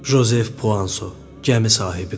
Jozef Puanso gəmi sahibi.